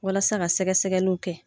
Walasa ka sɛgɛsɛgɛliw kɛ